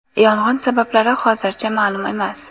Yong‘in sabablari hozircha ma’lum emas.